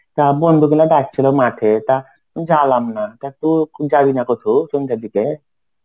তা বন্ধু গুলা ডাকছিল মাঠে. তা জালাম না. তু যাবি না কোথাও সন্ধ্যের দিকে?